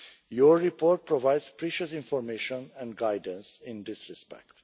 Your report provides precious information and guidance in this respect.